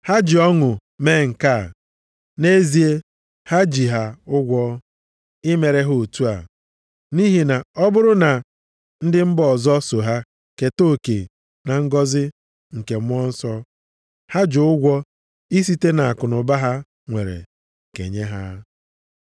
Ha ji ọṅụ mee nke a, nʼezie ha ji ha ụgwọ i mere ha otu a. Nʼihi na ọ bụrụ na ndị mba ọzọ so ha keta oke na ngọzị nke Mmụọ Nsọ, ha ji ụgwọ isite nʼakụnụba ha nwere kenye ha.